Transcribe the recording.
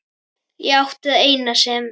Ég átti það eina sem